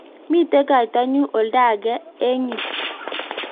mito kaitanyin oldo age eng' yu